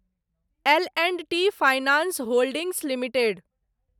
L and T finance holdings limited